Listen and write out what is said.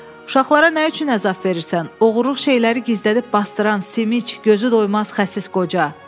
Uşaqlara nə üçün əzab verirsən, oğurluq şeyləri gizlədib basdıran Simiç, gözü doymaz xəsis qoca!